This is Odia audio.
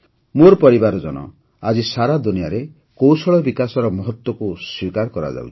ମୋର ପରିବାରଜନ ଆଜି ସାରା ଦୁନିଆରେ କୌଶଳ ବିକାଶର ମହତ୍ତ୍ୱକୁ ସ୍ୱୀକାର କରାଯାଉଛି